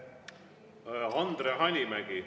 Andre Hanimägi.